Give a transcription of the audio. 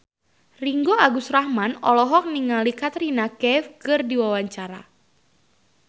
Ringgo Agus Rahman olohok ningali Katrina Kaif keur diwawancara